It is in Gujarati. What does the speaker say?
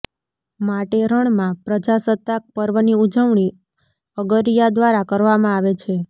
માટે રણમાં પ્રજાસત્તાક પર્વની ઉજવણી અગરિયા દ્વારા કરવામાં આવે છે